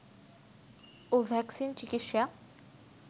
ও vaccine চিকিৎসা